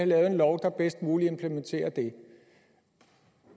lavet en lov der bedst muligt implementerer det